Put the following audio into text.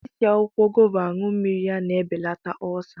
I si akwụkwọ gova anụ mmiri ya na-ebelata ọlsa